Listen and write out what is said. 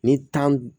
Ni tan